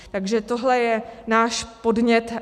Takže tohle je náš podnět.